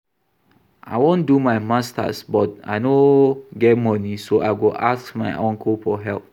I wan do my masters but I no get money so I go ask my uncle for help